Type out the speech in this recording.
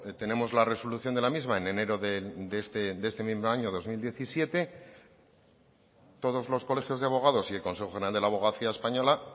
tenemos la resolución de la misma en enero de este mismo año dos mil diecisiete todos los colegios de abogados y el consejo general de la abogacía española